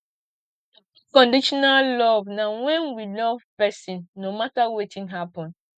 unconditional love na when we love person no matter wetin happen